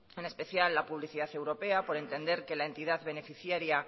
en especial la publicidad europea por entender que la entidad beneficiaría